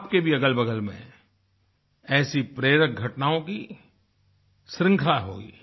आप के भी अगलबगल में ऐसी प्रेरक घटनाओं की श्रृंखला होगी